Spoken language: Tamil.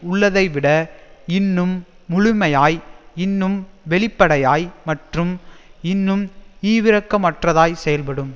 உள்ளதை விட இன்னும் முழுமையாய் இன்னும் வெளிப்படையாய் மற்றும் இன்னும் ஈவிரக்கமற்றதாய் செயல்படும்